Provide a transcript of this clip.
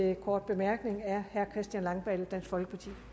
en kort bemærkning er herre christian langballe dansk folkeparti